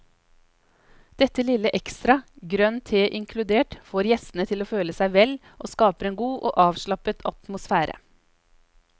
Dette lille ekstra, grønn te inkludert, får gjestene til å føle seg vel og skaper en god og avslappet atmosfære.